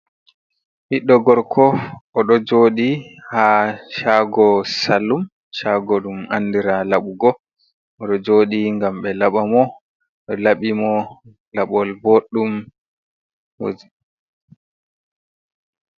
biɗɗo gorko o do jodi ha chago sallum chago dum andira labugo o do joɗi gam be laba mo do labi mo labol boɗɗum moi.